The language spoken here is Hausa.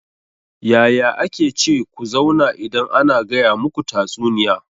Yaya ake ce ku zauna idan ana gaya muku tatsuniya?